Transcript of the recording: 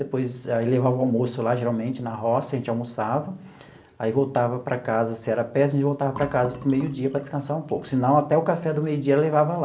Depois, aí levava o almoço lá, geralmente na roça, a gente almoçava, aí voltava para casa, se era perto, a gente voltava para casa para o meio-dia para descansar um pouco, senão até o café do meio-dia levava lá.